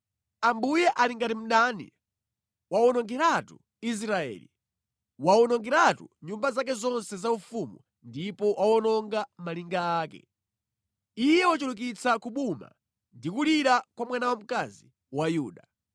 Ambuye ali ngati mdani; wawonongeratu Israeli; wawonongeratu nyumba zake zonse zaufumu ndipo wawononga malinga ake. Iye wachulukitsa kubuma ndi kulira kwa mwana wamkazi wa Yuda.